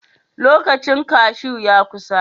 Lokacin kaju ya kusa.